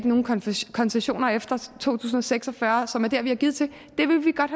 nogen koncessioner efter to tusind og seks og fyrre som er der hvor vi har givet til det ville vi godt